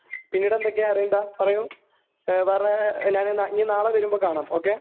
പിന്നീട് എന്തൊക്കെയാ അരവിന്ദ,.പറയൂ....വേറെ..ഇനി നാളെ വരുമ്പോ കാണാം, ഓക്കേ?